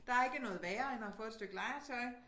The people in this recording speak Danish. Der ikke noget værre end at få et stykke legetøj